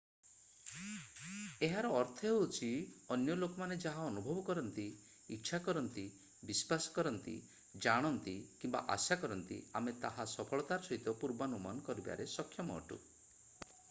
ଏହାର ଅର୍ଥ ହେଉଛି ଅନ୍ୟ ଲୋକମାନେ ଯାହା ଅନୁଭବ କରନ୍ତି ଇଚ୍ଛା କରନ୍ତି ବିଶ୍ୱାସ କରନ୍ତି ଜାଣନ୍ତି କିମ୍ବା ଆଶା କରନ୍ତି ଆମେ ତାହା ସଫଳତାର ସହିତ ପୂର୍ବାନୁମାନ କରିବାରେ ସକ୍ଷମ ଅଟୁ